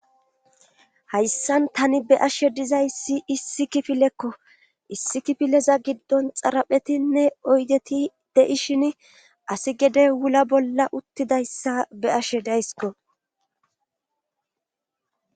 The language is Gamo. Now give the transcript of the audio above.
hayssan tani be ashe dizayssi issi kifilekko issi kifileza giddon xaraphetinne oydeti deishin asi gede wula bolla uttidayssa be ashe daysko